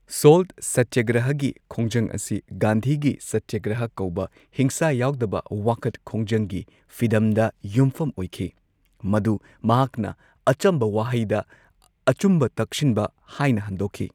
Salt ꯁꯇ꯭ꯌꯒ꯭ꯔꯍꯒꯤ ꯈꯣꯡꯖꯪ ꯑꯁꯤ ꯒꯥꯟꯙꯤꯒꯤ ꯁꯇ꯭ꯌꯒ꯭ꯔꯍ ꯀꯧꯕ ꯍꯤꯡꯁꯥ ꯌꯥꯎꯗꯕ ꯋꯥꯈꯠ ꯈꯣꯡꯖꯪꯒꯤ ꯐꯤꯗꯝꯗ ꯌꯨꯝꯐꯝ ꯑꯣꯏꯈꯤ, ꯃꯗꯨ ꯃꯍꯥꯛꯅ ꯑꯆꯝꯕ ꯋꯥꯍꯩꯗ ꯑꯆꯨꯝꯕ ꯇꯛꯁꯤꯟꯕ ꯍꯥꯏꯅ ꯍꯟꯗꯣꯛꯈꯤ꯫